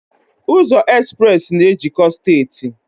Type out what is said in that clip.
Ụzọ Express na ejikọọ steeti